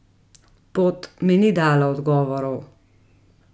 Pot mi ni dala odgovorov.